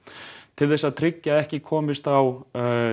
til þess að tryggja að ekki komist á